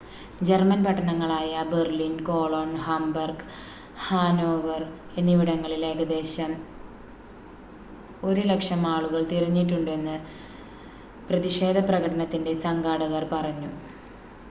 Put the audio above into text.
German പട്ടണങ്ങളായ Berlin Cologne Hamburg Hanover എന്നിവിടങ്ങളിൽ ഏകദേശം 100,000 ആളുകൾ തിരിഞ്ഞിട്ടുണ്ടെന്ന് പ്രതിഷേധപ്രകടനത്തിൻ്റെ സംഘാടകർ പറഞ്ഞു